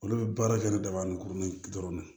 Olu bɛ baara kɛ ni daba ni kurun dɔrɔn de ye